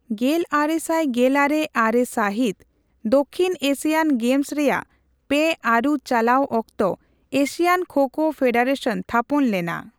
ᱜᱮᱞᱟᱨᱮᱥᱟᱭ ᱜᱮᱞᱟᱨᱮ ᱟᱨᱮ ᱥᱟᱹᱦᱤᱛ, ᱫᱚᱠᱠᱷᱤᱱ ᱮᱥᱤᱭᱟᱱ ᱜᱮᱢᱥ ᱨᱮᱭᱟᱜ ᱯᱮ ᱟᱹᱨᱩ ᱪᱟᱞᱟᱣ ᱚᱠᱛᱚ ᱮᱥᱤᱭᱟᱱ ᱠᱷᱳ ᱠᱷᱳ ᱯᱷᱮᱰᱟᱨᱮᱥᱚᱱ ᱛᱷᱟᱯᱚᱱ ᱞᱮᱱᱟ ᱾